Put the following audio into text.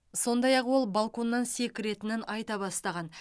сондай ақ ол балконнан секіретінін айта бастаған